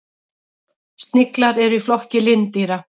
Sniglar eru í flokki lindýra.